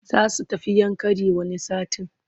Za su tafi Yankari wani satin.